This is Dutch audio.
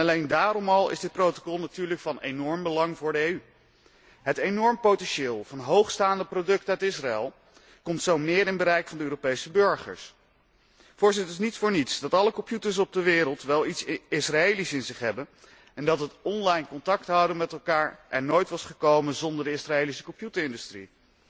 Alleen daarom al is dit protocol natuurlijk van enorm belang voor de EU. Het enorme potentieel van hoogstaande producten uit Israël komt zo meer binnen het bereik van de Europese burgers. Het is niet voor niets dat alle computers op de wereld wel iets Israëlisch in zich hebben en dat het online contact houden met elkaar er nooit was gekomen zonder de Israëlische computerindustrie.